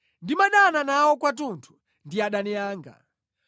Ndimadana nawo kwathunthu; ndi adani anga.